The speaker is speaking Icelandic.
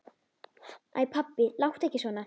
Æ pabbi, láttu ekki svona.